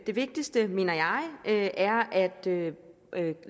det vigtigste mener jeg er at lave